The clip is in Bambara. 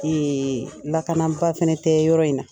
Ee lakanaba fana tɛ yɔrɔ in na.